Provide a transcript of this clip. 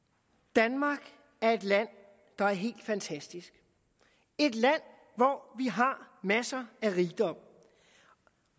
danmark er et land der er helt fantastisk et land hvor vi har masser af rigdom